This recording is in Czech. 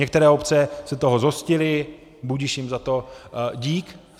Některé obce se toho zhostily, budiž jim za to dík.